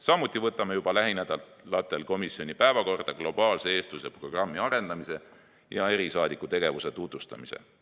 Samuti võtame juba lähinädalatel komisjoni päevakorda globaalse eestluse programmi arendamise ja erisaadiku tegevuse tutvustamise.